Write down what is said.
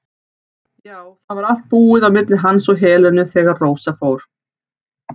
Já, það var allt búið á milli hans og Helenu þegar Rósa fór.